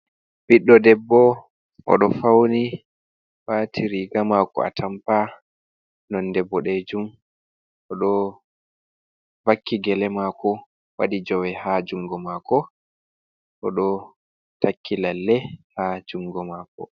Ɓiɗɗo debbo, oɗo fauni wati riga mako atampa nonde bo danejum, oɗo vakki gele mako waɗi jawe ha jungo mako, oɗo takki lalle ha jungo mako.